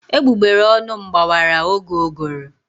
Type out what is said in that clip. Egbugbere ọnụ m gbawara oge ụgụrụ.